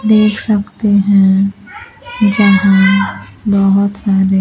देख सकते हैं जहां बहोत सारे--